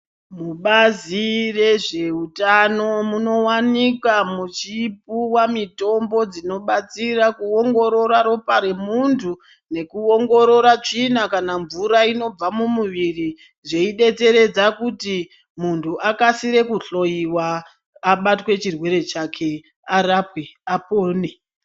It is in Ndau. Mubazi rezveutano munowanikwa muchipuwa mitombo dzinobatsira kuongororora ropa remuntu nekuongorora tsvina kana mvura inobva mumuwiri zveidetseredza kuti munhu akaire kohloiwa abatwe chirwere chake arapwe apone .